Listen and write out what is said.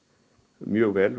mjög vel